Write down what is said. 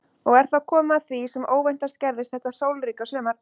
Og er þá komið að því sem óvæntast gerðist þetta sólríka sumar.